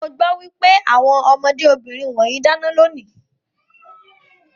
Mo gbọ́ pé àwọn ọmọdé obìnrin wọ̀nyẹn dáná lónìí.